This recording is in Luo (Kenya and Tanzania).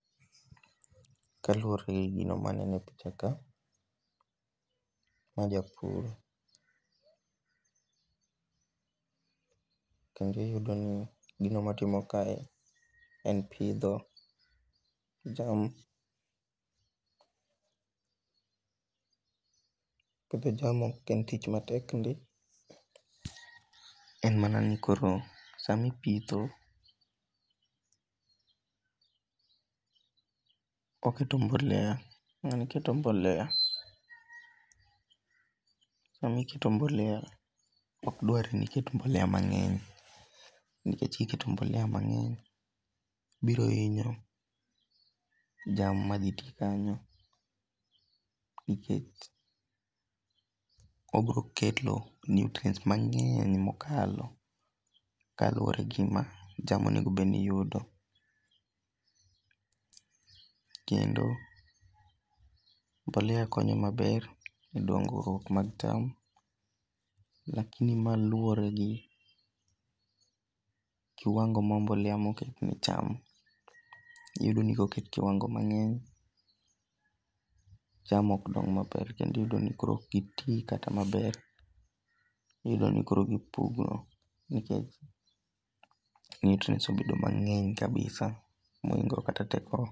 Kaluwore gi gino maneno e pichaka, ma japur. Kendo iyudo ni gino motimo kae en pidho cham. Pidho cham ok en tich matek ndi. En mana ni koro samipitho oketo mbolea. Ng'ani keto mbolea. Sami keto mbolea ok dwar ni iket mbolea mang'eny. Nikech kiketo mbolea mang'eny biro hinyo cham madhi te kanyo. Nikech obiro keto nutrients mang'eny mokalo kaluwore gi gima cham onengo bed ni yudo. Kendo mbolea konyo maber e dongruokmag cham. Lakini ma luwore gi kiwango mar mbolea moket ne cham. Iyudo ni koket kiwango mang'eny. cham ok dong maber. Kendo iyudo ni koro ok giti kata maber. Iyudo ni koro gipugno nikech nutrients obedo mang'eny kabisa mohingo kata tekogi.